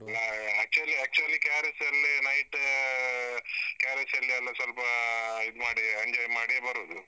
ಹಾ actually actually KRS ಅಲ್ಲಿ night , ಆ KRS ಅಲ್ಲಿ ಎಲ್ಲ ಸ್ವಲ್ಪಾ ಇದು ಮಾಡಿ, enjoy ಮಾಡಿ ಬರುದು.